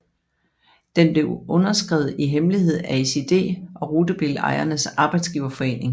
Den blev underskrevet i hemmelighed af SiD og Rutebilejernes Arbejdsgiverforening